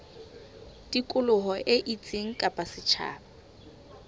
tikoloho e itseng kapa setjhaba